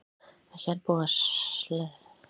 Ekki enn búið að leiðrétta svikin